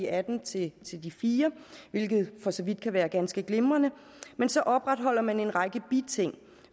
atten til fire hvilket for så vidt kan være ganske glimrende men så opretholder man en række biting